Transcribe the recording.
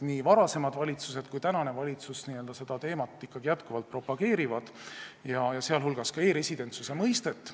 Nii varasemad valitsused kui ka tänane valitsus on seda teemat ikkagi propageerinud, sh e-residentsuse mõistet.